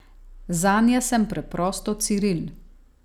Zanje sem preprosto Ciril.